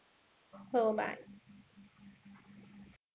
हो bye.